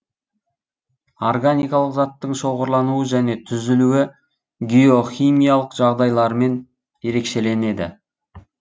органикалық заттың шоғырлануы және түзілуі геохимиялық жағдайларымен ерекшеленеді